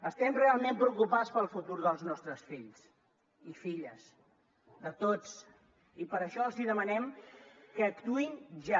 estem realment preocupats pel futur dels nostres fills i filles de tots i per això els demanem que actuïn ja